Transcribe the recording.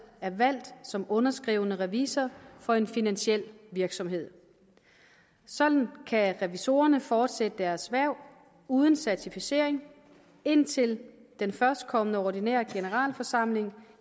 er valgt som underskrivende revisor for en finansiel virksomhed sådan kan revisorerne fortsætte deres hverv uden certificering indtil den førstkommende ordinære generalforsamling